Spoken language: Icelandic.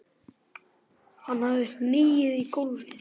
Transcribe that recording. Hann hafði hnigið í gólfið.